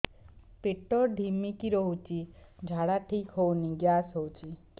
ପେଟ ଢିମିକି ରହୁଛି ଝାଡା ଠିକ୍ ହଉନି ଗ୍ୟାସ ହଉଚି